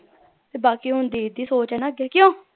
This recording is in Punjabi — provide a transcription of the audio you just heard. ਤੇ ਬਾਕੀ ਹੁਣ ਦੀਦੀ ਦੀ ਸੋਚ ਏ ਨਾ ਅੱਗੇ ਕਿਓਂ